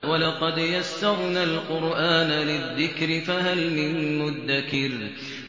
وَلَقَدْ يَسَّرْنَا الْقُرْآنَ لِلذِّكْرِ فَهَلْ مِن مُّدَّكِرٍ